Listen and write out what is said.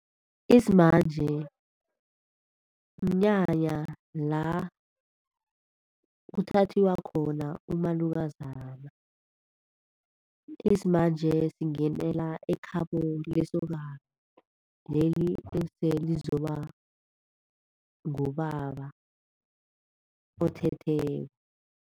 Isimanje, mnyanya la kuthathiwa khona umalukazana. Isimanje singenela ekhabo lesokana leli eselizoba ngubaba othetheko.